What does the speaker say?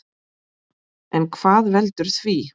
En hvað veldur því?